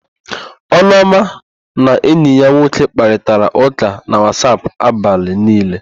Ụlọma na enyi ya nwoke kparịtara ụ́kà na Wasap abalị niile.